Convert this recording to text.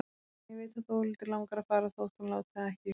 En ég veit að Þórhildi langar að fara þótt hún láti það ekki uppi.